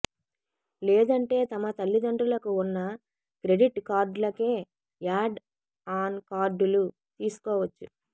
లేదంటే తమ తల్లిదండ్రులకు ఉన్న క్రెడిట్ కార్డులకే యాడ్ ఆన్ కార్డులు తీసుకోవచ్చు